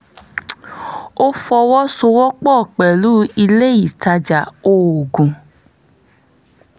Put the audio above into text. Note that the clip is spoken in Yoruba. o fọwọsowọpọ pẹlu ile itaja oogun